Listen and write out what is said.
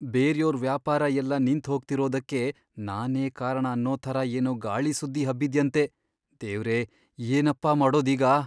ಬೇರ್ಯೋರ್ ವ್ಯಾಪಾರ ಎಲ್ಲ ನಿಂತ್ಹೋಗ್ತಿರೋದಕ್ಕೆ ನಾನೇ ಕಾರಣ ಅನ್ನೋ ಥರ ಏನೋ ಗಾಳಿ ಸುದ್ದಿ ಹಬ್ಬಿದ್ಯಂತೆ, ದೇವ್ರೇ! ಏನಪ್ಪಾ ಮಾಡೋದೀಗ?!